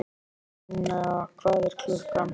Linnea, hvað er klukkan?